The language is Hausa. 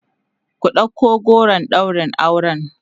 ku ɗauko goron ɗaurin auren!